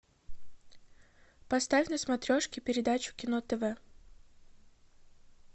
поставь на смотрешке передачу кино тв